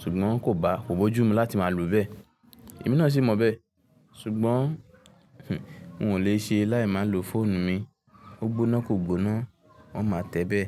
ṣùgbọ́n kò bá, kò bójú mi láti máa lo bẹ. Èmi náà sì mọ bẹ, ṣùgbọ́n n o lè ṣe láì máa lo fóònù mi. Ó gbóná kò gbóná, oun máa tẹ́bẹ̀